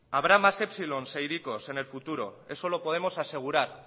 habrá más epsilon e hiriko en el futuro eso lo podemos asegurar